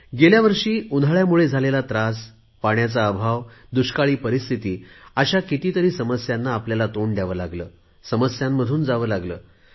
गेल्या वर्षी आपण उन्हाळ्यामुळे झालेला त्रास पाण्याचा अभाव दुष्काळी परिस्थिती अशा कितीतरी समस्यांना आपल्याला तोंड द्यावे लागले समस्यांमधून जावे लागले